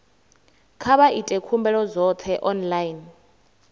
kha vha ite khumbelo dzoṱhe online